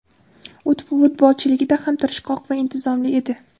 U futbolchiligida ham tirishqoq va intizomli edi.